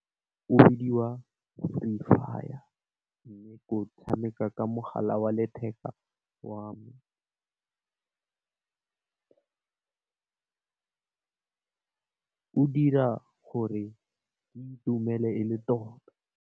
O bidiwa Fire mme, ko tshameka ka mogala wa letheka wa me, o dira gore ke itumele e le tota.